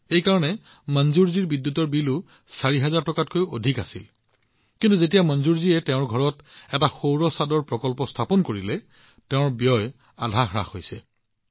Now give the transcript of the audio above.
এই কাৰণে মনজুৰজীৰ বিদ্যুতৰ বিলো ৪ হাজাৰ টকাতকৈও অধিক হৈছিল কিন্তু যিহেতু মনজুৰজীয়ে তেওঁৰ ঘৰত এটা সৌৰ ৰুফটপ প্ৰকল্প স্থাপন কৰিছে তেওঁৰ ব্যয় আধাতকৈও কম হৈছে